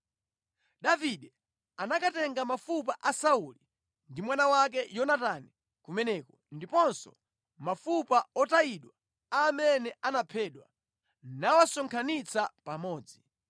Davide anakatenga mafupa a Sauli ndi mwana wake Yonatani kumeneko ndiponso mafupa otayidwa a amene anaphedwa nawasonkhanitsa pamodzi.